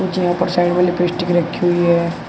पर साइड में लिपस्टिक रखी हुई है।